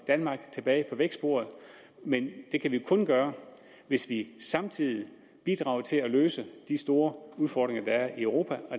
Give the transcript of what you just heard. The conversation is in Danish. danmark tilbage på vækstsporet men det kan vi kun gøre hvis vi samtidig bidrager til at løse de store udfordringer der er i europa